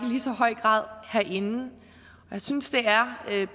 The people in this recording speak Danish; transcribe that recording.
lige så høj grad herinde jeg synes det er